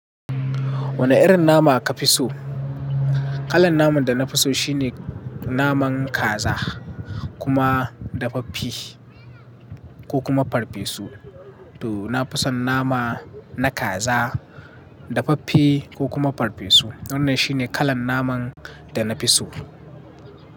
Wane irin nama ka fi so? Kalan naman da na fi so shine naman kaza. Kuma dafaffe. Ko kuma farfesu. To na fi son nama na kaza, dafaffe ko kuma farfesu. Wannan shine kalan naman da na fi so.